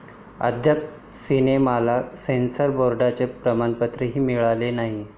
अद्याप सिनेमाला सेन्सॉर बोर्डाचं प्रमाणपत्रही मिळालेलं नाही.